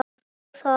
Má það?